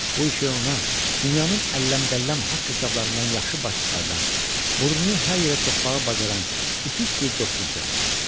Bu işi ona dünyanın əlləm-qəlləm haqq hesablarından yaxşı baş çıxardan, burnunu hər yerə soxmağı bacaran ütük bir dostu düzəltmişdi.